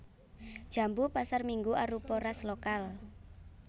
Jambu pasarminggu arupa ras lokal